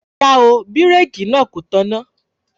Rárá o, ibẹ̀rẹ̀kì náà kò tọ̀nà